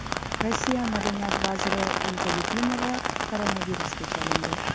Rossiya madaniyat vaziri Olga Lyubimova koronavirusga chalindi.